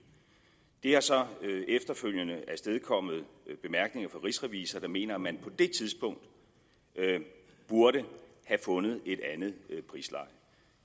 det har så efterfølgende afstedkommet bemærkninger fra rigsrevisor der mener at man på det tidspunkt burde have fundet et andet prisleje